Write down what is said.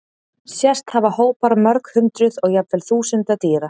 Sést hafa hópar mörg hundruð og jafnvel þúsunda dýra.